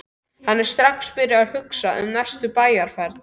Hann er strax byrjaður að hugsa um næstu bæjarferð.